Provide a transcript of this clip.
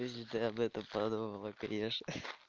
если ты об этом подумала конечно